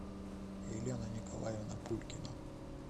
елена николаевна пулькина